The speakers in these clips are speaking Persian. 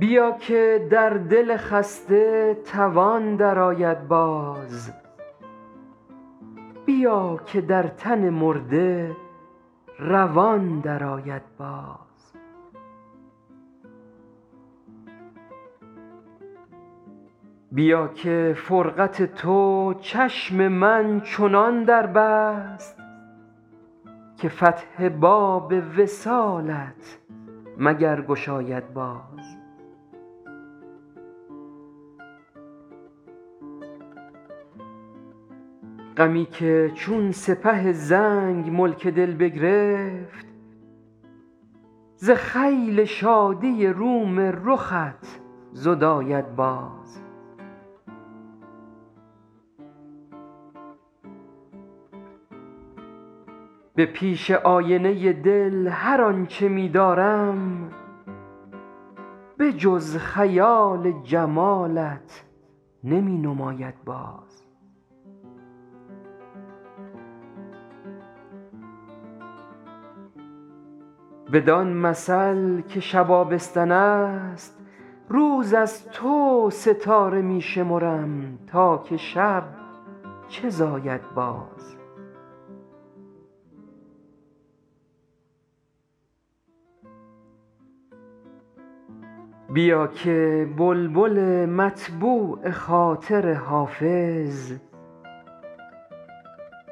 درآ که در دل خسته توان درآید باز بیا که در تن مرده روان درآید باز بیا که فرقت تو چشم من چنان در بست که فتح باب وصالت مگر گشاید باز غمی که چون سپه زنگ ملک دل بگرفت ز خیل شادی روم رخت زداید باز به پیش آینه دل هر آن چه می دارم به جز خیال جمالت نمی نماید باز بدان مثل که شب آبستن است روز از تو ستاره می شمرم تا که شب چه زاید باز بیا که بلبل مطبوع خاطر حافظ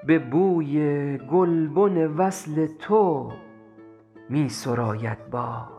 به بوی گلبن وصل تو می سراید باز